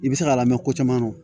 I bɛ se k'a lamɛn ko caman na